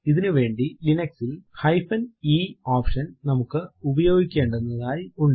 ഇതിനു വേണ്ടി ലിനക്സ് ൽ eഹൈഫെൻ ഇ ഓപ്ഷൻ നമുക്ക് ഉപയോഗിക്കെണ്ടുന്നതായി ഉണ്ട്